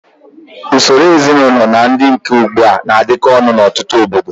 Usoro ezinaụlọ na nke dị ugbu a na-adịkọ ọnụ n'ọtụtụ obodo.